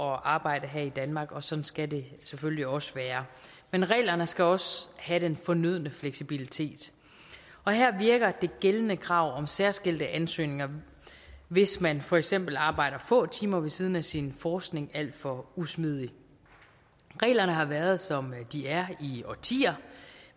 arbejde her i danmark og sådan skal det selvfølgelig også være men reglerne skal også have den fornødne fleksibilitet her virker det gældende krav om særskilte ansøgninger hvis man for eksempel arbejder få timer ved siden af sin forskning alt for usmidig reglerne har været som de er i årtier